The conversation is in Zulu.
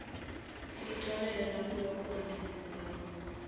ngixolele nakulokho engingazange